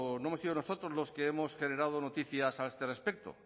no hemos sido nosotros los que hemos generado noticias a este respecto